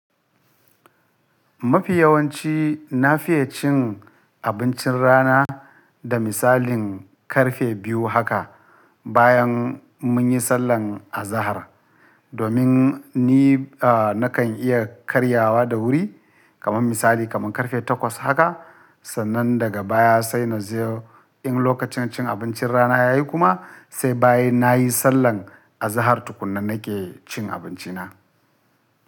Mafi yawanci na fiye cin abincin rana da misalin ƙarfe biyu haka bayan mun yi sallah a zahar, domin ni, a nakan iya karyawa da wuri kamar misali kamar ƙarfe takwas haka. Sannan daga baya sai na je in lokacin cin abincin rana ya yi kuma sai bayan na yi sallah a zahartu kunna nake cin abinci na.